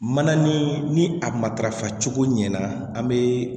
Mana ni a matarafa cogo ɲana an bɛ